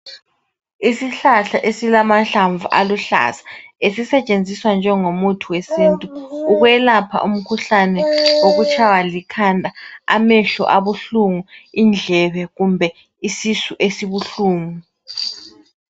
Isihlahla esilamahlamvu aluhlaza, esisetshenziswa njengomuthi wesintu, ukwelapha umkhuhlane wokuyshaywa likhanda, amehlo abuhlungu, indlebe, kumbe isisu esibuhlungu.